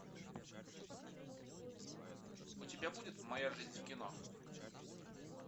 у тебя будет моя жизнь в кино